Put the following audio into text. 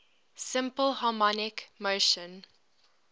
simple harmonic motion